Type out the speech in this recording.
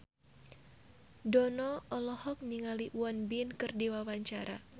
Dono olohok ningali Won Bin keur diwawancara